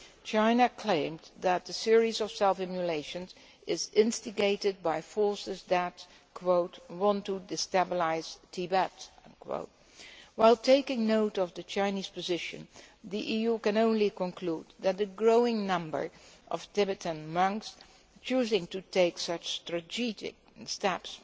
China claimed that the series of self immolations is instigated by forces that want to destabilise Tibet'. While taking note of the Chinese position, the EU can only conclude that the growing number of Tibetan monks choosing to take such tragic steps